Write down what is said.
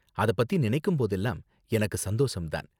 அத பத்தி நினைக்கும் போதெல்லாம் எனக்கு சந்தோசம் தான்.